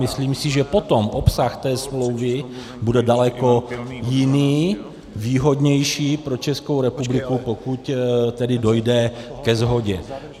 Myslím si, že potom obsah té smlouvy bude daleko jiný, výhodnější pro Českou republiku, pokud tedy dojde ke shodě.